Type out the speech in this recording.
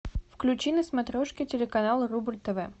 включи на смотрешке телеканал рубль тв